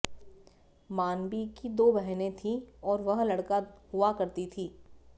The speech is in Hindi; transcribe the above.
मानबी की दो बहनें थीं और वह लड़का हुआ करती थीं